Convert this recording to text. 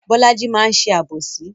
Bolaji máa ń ṣe àbòsí